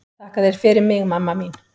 Þakka þér fyrir mig mamma mín.